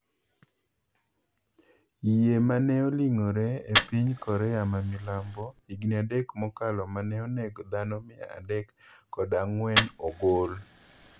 Yiee mane oling'ore epiny Korea mamilambo higni adek mokalo mane onego dhano mia adek kod a ng'wen ogol.